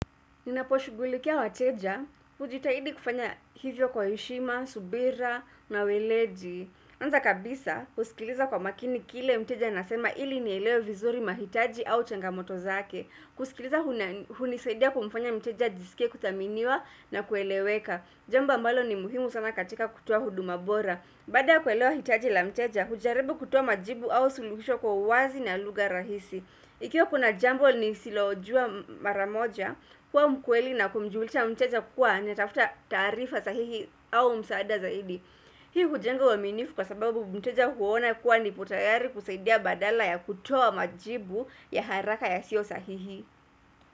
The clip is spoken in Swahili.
Ninaposhugulikia wateja, ujitahidi kufanya hivyo kwa heshima, subira na weleji. Anza kabisa, husikiliza kwa makini kile mteja anasema ili nielewe vizuri mahitaji au changamoto zake. Kusikiliza hunisaidia kumfanya mteja ajisike kutaminiwa na kueleweka. Jamba ambalo ni muhimu sana katika kutua huduma bora. Bada kuelewa hitaji la mteja, hujarebu kutua majibu au suluhisho kwa uwazi na luga rahisi. Ikiwa kuna jambo ni silo jua maramoja, kwa mkweli na kumjulisha mteja kuwa niatafuta tarifa sahihi au msaada zaidi. Hii hujengwa waminifu kwa sababu mteja huona kuwa nipo tayari kuseidia badala ya kutoa majibu ya haraka ya sio sahihi.